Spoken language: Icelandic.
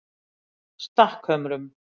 Stakkhömrum